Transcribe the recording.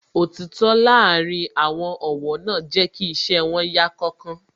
Òtítọ́ láàárín àwọn ọ̀wọ́ náà jẹ́ kí iṣẹ́ wón yá kánkán